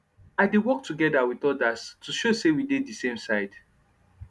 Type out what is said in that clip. i dey work togeda with ordas to show say we dey de same side